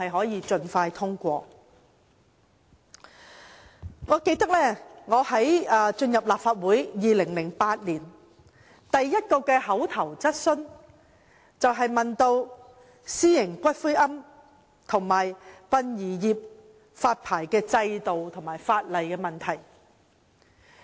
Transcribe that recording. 2008年我剛成為立法會議員，提出的第一項口頭質詢，便是有關私營骨灰龕場和殯儀業的發牌制度和法例問題。